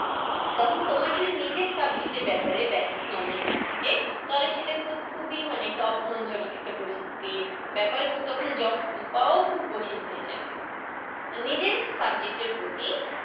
তখন তোমার ওই নিজের subject এর ব্যাপারে basic knowledge না থাকে, তাহলে সেটা কিন্তু খুবই মানে টাফ মনজনক একটা পরিস্থি ব্যাপার। এবং তখন job পাওয়াও খুব কঠিন হয়ে যাবে। নিজের subject এর প্রতি